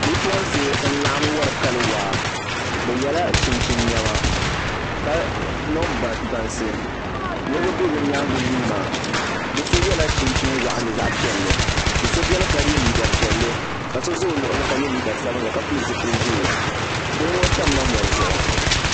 Bipuɣunsi n laɣam wori kali waa bi yɛla chinchin niɛma ka niŋ bansi niraba bɛ bi nyaangu yuunda bi so yɛla chinchin waɣanli zaɣ piɛlli do so biɛni ka yɛ liiga piɛlli ka so ʒɛ o luɣuli ka yɛ liiga sabinli ka pili zipili ʒiɛ bihi ŋɔ tamla mɔri zuɣu